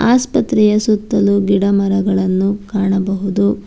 ಆಸ್ಪತ್ರೆಯ ಸುತ್ತಲು ಗಿಡ ಮರಗಳನ್ನು ಕಾಣಬಹುದು.